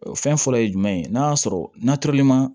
O fɛn fɔlɔ ye jumɛn ye n'a y'a sɔrɔ na tɔrɔli ma